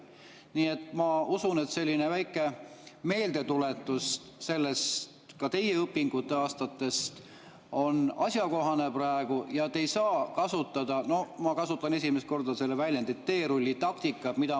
Nii et ma usun, et selline väike meeldetuletus ka teie õpinguaastatest on praegu asjakohane ja te ei saa kasutada – ma kasutan esimest korda seda väljendit – teerullitaktikat.